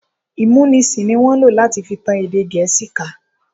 Ìmúnisì ní wọ́n lò láti fi tan èdè Gẹ̀ẹ́sì ká.